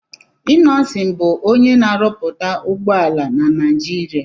Innọsịn bù onyé na-árúpúta ụgbọala na Nijiria